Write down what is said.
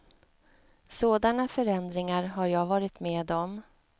Sådana förändringar har jag varit med om.